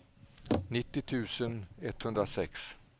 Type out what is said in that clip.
nittio tusen etthundrasex